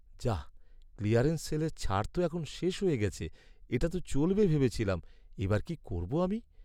যাহ্! Clearance সেলের ছাড় তো এখন শেষ হয়ে গেছে। এটা তো চলবে ভেবেছিলাম, এবার কি করবো আমি!